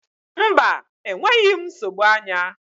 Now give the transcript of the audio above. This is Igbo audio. Mba, enweghị m nsogbu anya.